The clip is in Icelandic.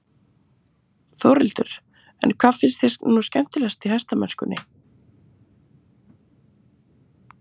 Þórhildur: En hvað finnst þér nú skemmtilegast í hestamennskunni?